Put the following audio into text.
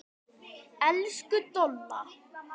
Elsku Dolla.